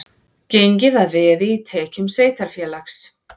Gengið að veði í tekjum sveitarfélags